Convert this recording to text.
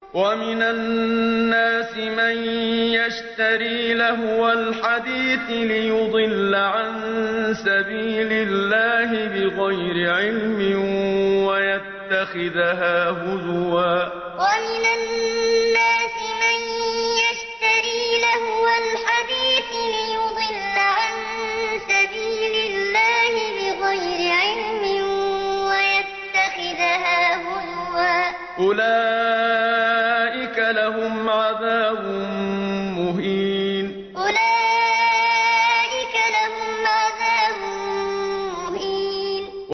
وَمِنَ النَّاسِ مَن يَشْتَرِي لَهْوَ الْحَدِيثِ لِيُضِلَّ عَن سَبِيلِ اللَّهِ بِغَيْرِ عِلْمٍ وَيَتَّخِذَهَا هُزُوًا ۚ أُولَٰئِكَ لَهُمْ عَذَابٌ مُّهِينٌ وَمِنَ النَّاسِ مَن يَشْتَرِي لَهْوَ الْحَدِيثِ لِيُضِلَّ عَن سَبِيلِ اللَّهِ بِغَيْرِ عِلْمٍ وَيَتَّخِذَهَا هُزُوًا ۚ أُولَٰئِكَ لَهُمْ عَذَابٌ مُّهِينٌ